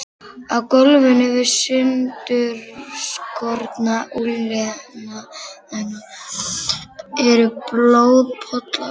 Á gólfinu við sundurskorna úlnliðina eru blóðpollar.